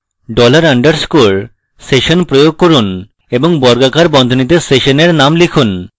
dollar underscore session প্রয়োগ করুন এবং বর্গাকার বন্ধনীতে সেশনের name লিখুন